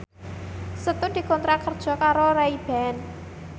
Setu dikontrak kerja karo Ray Ban